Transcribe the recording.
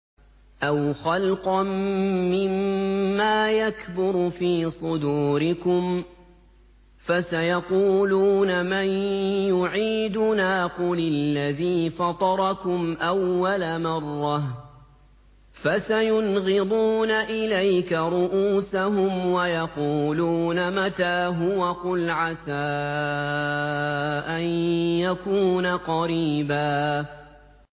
أَوْ خَلْقًا مِّمَّا يَكْبُرُ فِي صُدُورِكُمْ ۚ فَسَيَقُولُونَ مَن يُعِيدُنَا ۖ قُلِ الَّذِي فَطَرَكُمْ أَوَّلَ مَرَّةٍ ۚ فَسَيُنْغِضُونَ إِلَيْكَ رُءُوسَهُمْ وَيَقُولُونَ مَتَىٰ هُوَ ۖ قُلْ عَسَىٰ أَن يَكُونَ قَرِيبًا